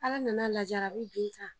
Ala nana lajarabi bin kan